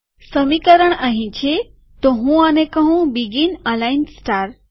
સમીકરણ અહીં છેતો હું આને કહું બીગીન અલાઈન સ્ટાર